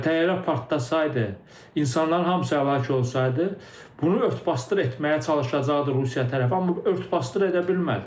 Yəni təyyarə partlasaydı, insanların hamısı həlak olsaydı, bunu ört-basdır etməyə çalışacaqdı Rusiya tərəfi, amma ört-basdır edə bilmədi.